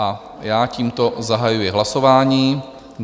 A já tímto zahajuji hlasování.